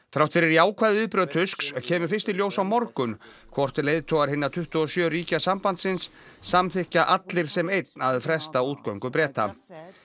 þrátt fyrir jákvæð viðbrögð kemur fyrst í ljós á morgun hvort leiðtogar hinna tuttugu og sjö ríkja sambandsins samþykkja allir sem einn að fresta útgöngu Breta